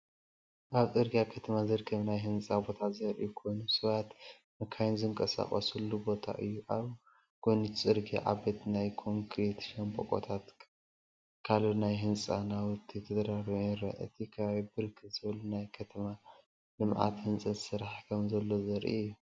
ኣብ ጽርግያ ከተማ ዝርከብ ናይ ህንጻ ቦታ ዘርኢ ኮይኑ፡ሰባትን መካይንን ዝንቀሳቐሱሉ ቦታ እዩ። ኣብ ጎኒእቲ ጽርግያ ዓበይቲ ናይ ኮንክሪት ሻምብቆታትን ካል ናይ ህንጻ ናውቲን ተደራሪቡ ይረአ። እቲ ከባቢ ብርክት ዝበለ ናይ ከተማ ልምዓትን ህንፀትን ስራሕቲ ከምዘሎዘርኢ እዩ።